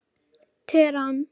Teheran